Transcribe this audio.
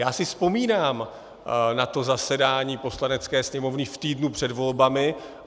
Já si vzpomínám na to zasedání Poslanecké sněmovny v týdnu před volbami.